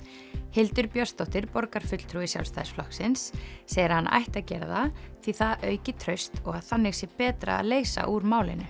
Hildur Björnsdóttir borgarfulltrúi Sjálfstæðisflokksins segir að hann ætti að gera það því það auki traust og að þannig sé betra að leysa úr málinu